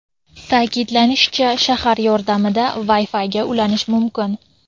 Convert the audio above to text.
Ta’kidlanishicha, sharlar yordamida Wi-Fi’ga ulanish mumkin.